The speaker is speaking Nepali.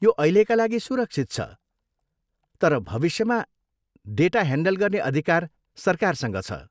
यो अहिलेका लागि सुरक्षित छ, तर भविष्यमा डेटा ह्यान्डल गर्ने अधिकार सरकारसँग छ।